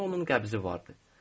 Əlimdə onun qəbzi vardı.